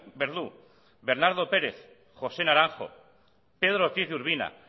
bernardo pérez josé naranjo pedro ortiz de urbina